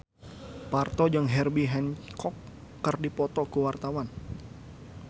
Parto jeung Herbie Hancock keur dipoto ku wartawan